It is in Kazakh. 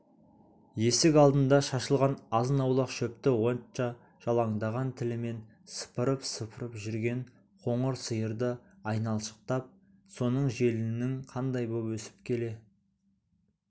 есік алдында шашылған азын-аулақ шөпті отша жалаңдаған тілімен сыпырып-сыпырып жүрген қоңыр сиырды айналшықтап соның желінінің қандай боп өсіп келе